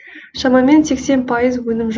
шамамен сексен пайыз өнім